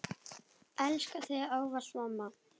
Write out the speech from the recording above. Elska þig ávallt mamma.